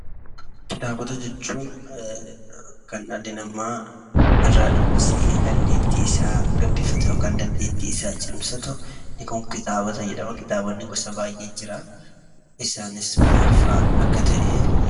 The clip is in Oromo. Kitaabota jechuun kan dhalli namaa irraa dubbisee dandeettii isaa gabbifatu ( dandeettii isaa cimsatu),inni kun kitaabota jedhama. Kitaabota gosa baay'eetu jira. Isaanis maalfaa akka ta'e....